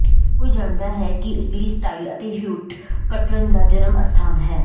ਹਰ ਕੋਈ ਜਾਣਦਾ ਹੈ ਕਿ ਇਟਲੀ ਸਟਾਈਲ ਅਤੇ ਹਿਊਟ ਕਟਰਨ ਦਾ ਜਨਮ ਅਸਥਾਨ ਹੈ